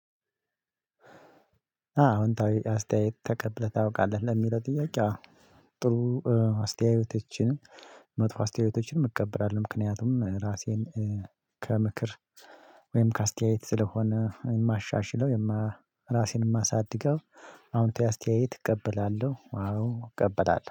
አዎ አዎ አስተያየት ተቀብለህ ታውቃለህ ለሚለው ጥያቄ? ጥሩ አስተያየቶችን መጥፎ አስተያየቶችን እቀበላለሁ ምክንያቱም ራሴን ከምክር ወይም ከአስተያየት ስለሆነ የማሻሽለው የማ ራሴን የማሳድገው አዎንታዊ አስተያየት እቀበላለሁ። አዎ እቀበላለሁ